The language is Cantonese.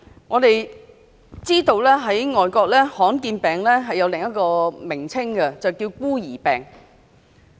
我們知道在外國，罕見病有另一個名稱，叫"孤兒病"。